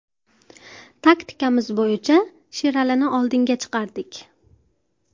Taktikamiz bo‘yicha Sheralini oldinga chiqardik.